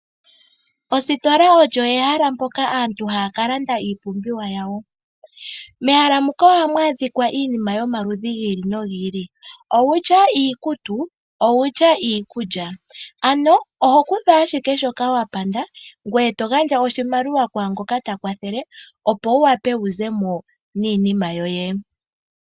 Ositola olyo ehala mpoka aantu haya ka landa iipumbiwa yawo, mehala muka ohamu adhikwa iinima yomaludhi gi ili nogi ili, owutya iikutu, owutya iikulya. Ano oho kutha ashike shoka wapanda ngoye to gandja oshimaliwa kwaangoka ta kwathele, opo wu wape wu zemo niinima yoye.